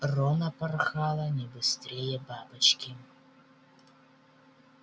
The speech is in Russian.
рона порхала не быстрее бабочки